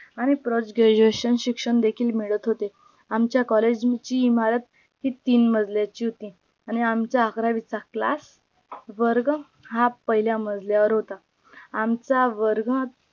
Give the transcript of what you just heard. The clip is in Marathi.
आणि post graduation शिक्षण देखील मिळत होते आमच्या collage ची इमारत ही तीन मजल्याची होती आणी आमचा अकरावीचा class वर्ग हा पहिल्या मजल्यावर होता आमचा वर्ग